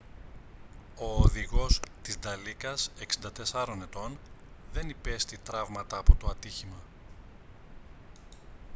ο οδηγός της νταλίκας 64 ετών δεν υπέστη τραύματα από το ατύχημα